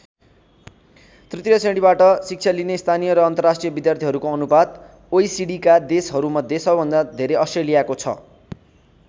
तृतीय श्रेणीबाट शिक्षा लिने स्थानीय र अन्तर्राष्ट्रिय विद्यार्थीहरूको अनुपात अोइसिडीका देशहरूमध्ये सबभन्दा धेरै अस्ट्रेलियाको छ।